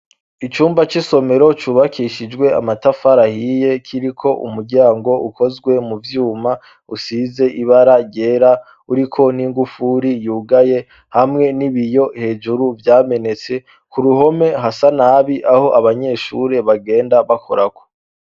Icumba c'isomero cubakishijwe amatafari ahiye kiriko umuryango ukozwe mu vyuma usize ibara ryera uriko n'ingufuri yugaye hamwe n'ibiyo hejuru vyamenetse, ku ruhome hasa nabi aho abanyeshure bagenda bakorako.